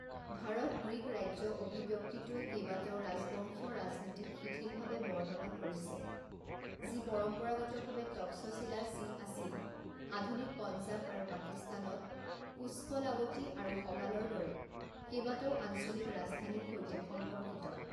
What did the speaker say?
ভাৰত-গ্ৰীক ৰাজ্য অভিব্যক্তিটোৱে কেইবাটাও ৰাজবংশীয় ৰাজনীতিক শিথিলভাৱে বৰ্ণনা কৰিছে যি পৰম্পৰাগতভাৱে টক্সশিলা যি আছিল আধুনিক পঞ্জাব আৰু পাকিস্তানত পুষ্কলাৱতী আৰু সগালৰ দৰে কেইবাটাও আঞ্চলিক ৰাজধানীৰ সৈতে সম্পৰ্কিত।